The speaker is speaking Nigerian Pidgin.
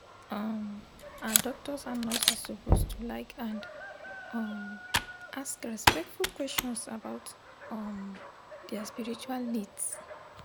um ah doctors and nurses suppose to like and um ask respectful questions about um dia spiritual needs